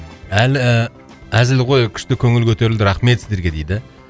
әзіл ғой күшті көңіл көтерілді рахмет сіздерге дейді